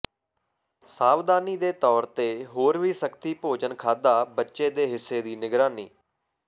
ਸਾਵਧਾਨੀ ਦੇ ਤੌਰ ਤੇ ਹੋਰ ਵੀ ਸਖਤੀ ਭੋਜਨ ਖਾਧਾ ਬੱਚੇ ਦੇ ਹਿੱਸੇ ਦੀ ਨਿਗਰਾਨੀ